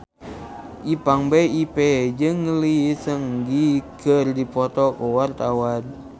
Ipank BIP jeung Lee Seung Gi keur dipoto ku wartawan